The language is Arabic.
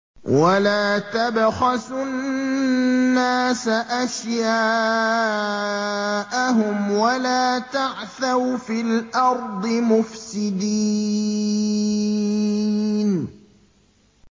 وَلَا تَبْخَسُوا النَّاسَ أَشْيَاءَهُمْ وَلَا تَعْثَوْا فِي الْأَرْضِ مُفْسِدِينَ